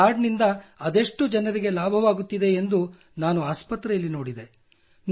ಈ ಕಾರ್ಡ್ ನಿಂದ ಅದೆಷ್ಟು ಜನರಿಗೆ ಲಾಭವಾಗುತ್ತಿದೆ ಎಂದು ನಾನು ಆಸ್ಪತ್ರೆಯಲ್ಲಿ ನೋಡಿದೆ